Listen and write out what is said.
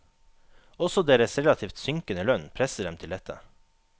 Også deres relativt synkende lønn presser dem til dette.